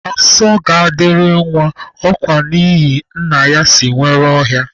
Asọ ga-adịrị nwa ọkwa n'ihina nna ya si nwere ọhịa